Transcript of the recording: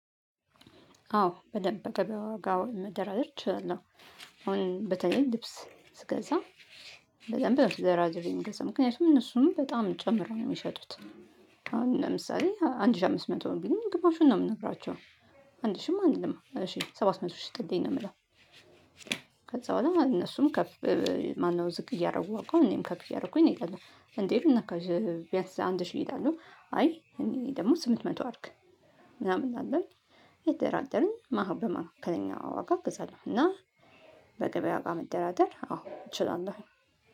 አዎ በደንብ በገቢያ ዋጋ መደራደር እችላለሁ አሁን በተለይ ልብስ ስገዛ በደንብ ተደራድሬ ነው የምገዛ። ምክንያቱም እነሱም በጣም ጨምረው ነው የሚሸጡት። አሁን ለምሳሌ አንድ ሺህ አምስት መቶ ነው ቢሉኝ ግማሹን ነው የምነግራቸው። አንድ ሺህም አልልም። እሺ ሰባት መቶ ሽጥልኝ ነው የምለው። ከዛ በኋላ እነሱም ከፍ ማነው ዝቅ እያደረጉ ዋጋውን እኔም ከፍ እያደረኩኝ ነው እንሄዳለን። እንዴ ምን ነካሽ ቢያንስ አንድ ሺ ይላሉ። አይ እኔ ደግሞ ስምንት መቶ አድርግ። ምናምን እያለን እየተደራደረን በሃከለኛ ከነኛ ዋጋ እንገዛለን። እና በገበያ ዋጋ መደራደር አዎ እችላለሁ።